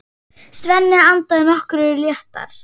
Svenni andað nokkru léttar.